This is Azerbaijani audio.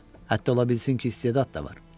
Hətta ola bilsin ki, istedad da var.